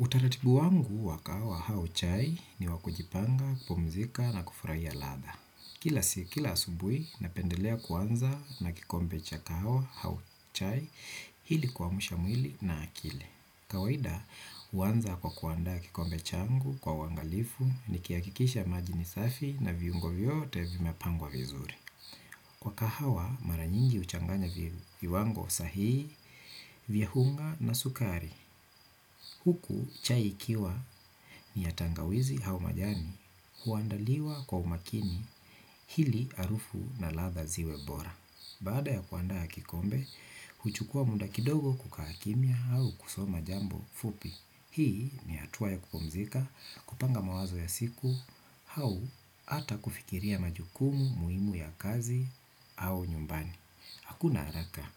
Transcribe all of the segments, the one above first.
Utaratibu wangu wa kahawa au chai ni wa kujipanga, kupumzika na kufurahia ladha. Kila sik kila asubuhi, napendelea kuanza na kikombe cha kawa au chai ili kuamsha mwili na akili. Kawaida, huanza kwa kuandaa kikombe changu kwa uangalifu nikihakikisha maji ni safi na viungo vyote vimepangwa vizuri. Wa kahawa mara nyingi huchanganya viwango sahihi, vya unga na sukari. Huku chai ikiwa ni ya tangawizi au majani huandaliwa kwa umakini ili harufu na ladha ziwe bora. Baada ya kuandaa kikombe, huchukua muda kidogo kukaa kimya au kusoma jambo fupi. Hii ni hatua ya kupumzika, kupanga mawazo ya siku, au ata kufikiria majukumu muhimu ya kazi au nyumbani. Hakuna haraka.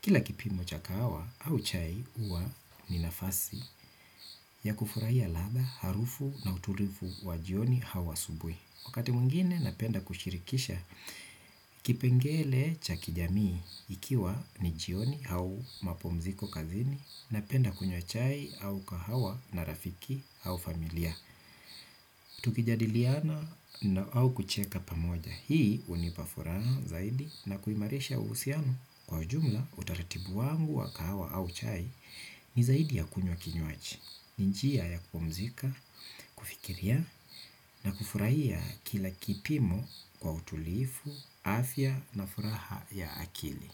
Kila kipimo cha kahawa au chai huwa ni nafasi ya kufurahia ladha, harufu na utulivu wa jioni au asubuhi. Wakati mwingine napenda kushirikisha kipengele cha kijamii ikiwa ni jioni au mapumziko kazini, napenda kunywa chai au kahawa na rafiki au familia. Tukijadiliana au kucheka pamoja, hii hunipa furaha zaidi na kuimarisha uhusiano kwa jumla utaratibu wangu wa kahawa au chai ni zaidi ya kunywa kinywaji. Ni njia ya kupumzika, kufikiria na kufurahia kila kipimo kwa utulivu, afya na furaha ya akili.